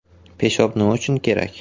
Peshob Nima uchun kerak?